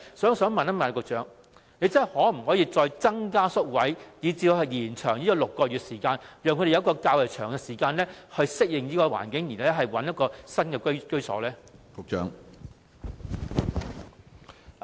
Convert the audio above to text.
我想問局長，可否再增加宿位，以致6個月的住宿期可以延長，讓入住的露宿者有較長時間適應環境，然後尋覓新居所？